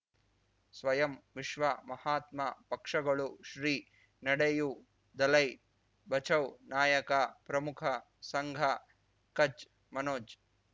ಸ್ವಯಂ ವಿಶ್ವ ಮಹಾತ್ಮ ಪಕ್ಷಗಳು ಶ್ರೀ ನಡೆಯೂ ದಲೈ ಬಚೌ ನಾಯಕ ಪ್ರಮುಖ ಸಂಘ ಕಚ್ ಮನೋಜ್